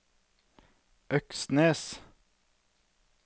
Øksnes